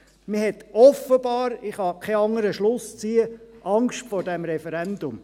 Man hat offenbar, ich kann keinen anderen Schluss ziehen, Angst vor diesem Referendum.